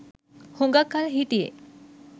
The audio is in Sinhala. හුඟක් කල් හිටියෙ.